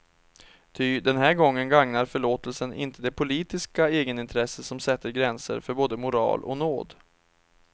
Ty den här gången gagnar förlåtelsen inte det politiska egenintresse som sätter gränser för både moral och nåd.